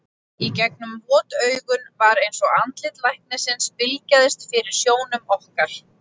Í gegnum vot augun var eins og andlit læknisins bylgjaðist fyrir sjónum okkar.